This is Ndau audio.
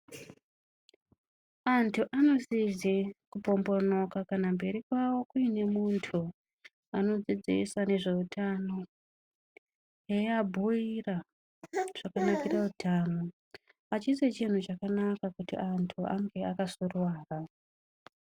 Antu anosise kupombonoka kana mberi kwavo kuine muntu anodzidzisa ngezveutano eabhuira zvakanakira utano. Achisi chintu chakanaka kuti antu ange akasuruwara.